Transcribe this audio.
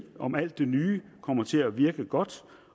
om alt det nye kommer til at virke godt